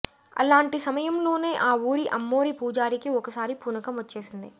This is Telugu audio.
అలాంటి సమయంలోనే ఆ ఊరి అమ్మోరి పూజారికి ఒకసారి పూనకం వచ్చేసింది